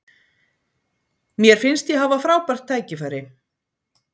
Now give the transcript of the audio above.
Mér finnst ég hafa frábært tækifæri.